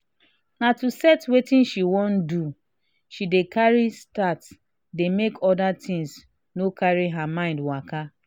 na to set wetin she wan do she dey carry start day make other things no cary her mind waka.